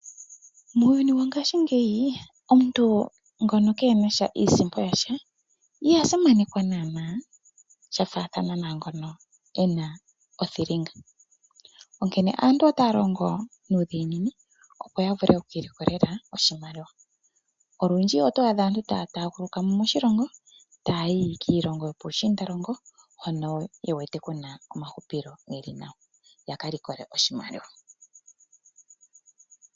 Muuyuni wo ngashingeyi omuntu ngono keena sha iisimpo yasha iha simanekwa naana sha faathana na ngono ena othilinga. Onkene aantu otaya longo nuudhiginini opo ya vule oku ilikolela oshimaliwa. Olundji oto adha aantu taya taaguluka mo moshilongo taya yi kiilongo yo puushiindalongo hono ye wete ku na omahupilo ge li nawa, yaka likole oshimaliwa